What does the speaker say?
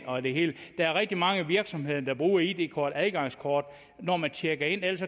og det hele der er rigtig mange virksomheder der bruger id kort som adgangskort når man tjekker ind ellers